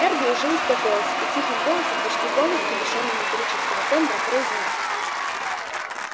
эрби уже успокоился и тихим голосом почти полностью лишённый металлического тембра произнёс